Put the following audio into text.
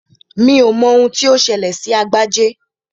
Mi ò mọ ohun tí ó ṣẹlẹ̀ sí Agbájé